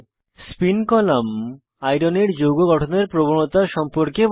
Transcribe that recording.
spin column iron iron এর যৌগ গঠনের প্রবণতা সম্পর্কে বলে